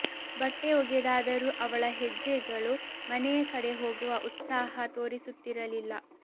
ಬಟ್ಟೆ ಒಗೆದಾದರೂ ಅವಳ ಹೆಜ್ಜೆಗಳು ಮನೆಯ ಕಡೆ ಹೋಗುವ ಉತ್ಸಾಹ ತೋರಿಸುತ್ತಿರಲಿಲ್ಲ